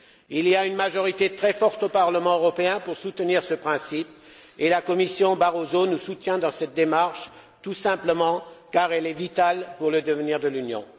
Il y a une majorité très forte au Parlement européen pour soutenir ce principe et la Commission Barroso nous soutient dans cette démarche, tout simplement parce qu'elle est vitale pour le devenir de l'Union.